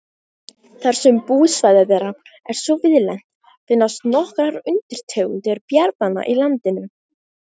Þar sem búsvæði þeirra er svo víðlent finnast nokkrar undirtegundir bjarnanna í landinu.